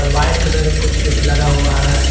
White colour का कुछ लगा हुआ है।